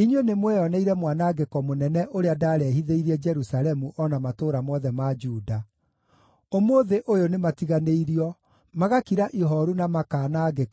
Inyuĩ nĩmweyoneire mwanangĩko mũnene ũrĩa ndaarehithĩirie Jerusalemu o na matũũra mothe ma Juda. Ũmũthĩ ũyũ nĩmatiganĩirio, magakira ihooru na makaanangĩka